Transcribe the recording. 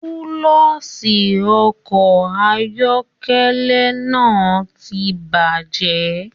Kúlọ̀sí ọkọ ayọkẹlẹ náà tí bajẹ.